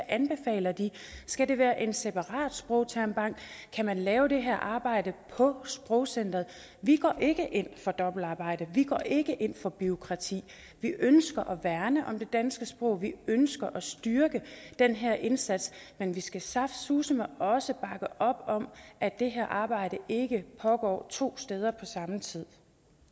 anbefaler skal det være en separat sprogtermbank kan man lave det her arbejde på sprogcenteret vi går ikke ind for dobbeltarbejde og vi går ikke ind for bureaukrati vi ønsker at værne om det danske sprog vi ønsker at styrke den her indsats men vi skal saftsuseme også bakke op om at det her arbejde ikke pågår to steder på samme tid